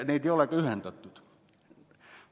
Neid ei ole ka ühendatud.